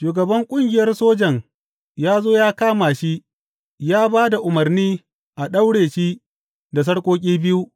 Shugaban ƙungiyar sojan ya zo ya kama shi ya ba da umarni a daure shi da sarƙoƙi biyu.